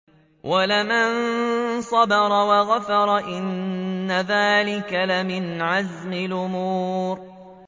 وَلَمَن صَبَرَ وَغَفَرَ إِنَّ ذَٰلِكَ لَمِنْ عَزْمِ الْأُمُورِ